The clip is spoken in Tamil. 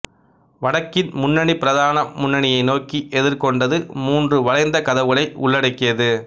வடக்கின் முன்னணி பிரதான முன்னணியை நோக்கி எதிர்கொண்டது மூன்று வளைந்த கதவுகளை உள்ளடக்கியது